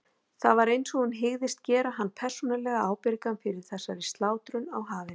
Það var einsog hún hygðist gera hann persónulega ábyrgan fyrir þessari slátrun á hafinu.